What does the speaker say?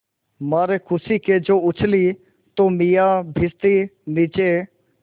मारे खुशी के जो उछली तो मियाँ भिश्ती नीचे